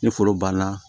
Ni foro banna